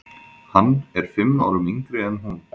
Hann er fimm árum yngri en hún.